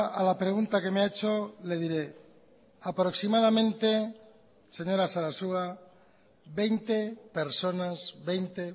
a la pregunta que me ha hecho le diré aproximadamente señora sarasua veinte personas veinte